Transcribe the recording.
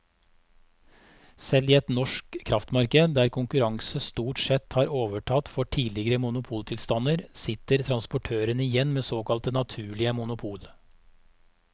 Selv i et norsk kraftmarked der konkurranse stort sett har overtatt for tidligere monopoltilstander, sitter transportørene igjen med såkalte naturlige monopol.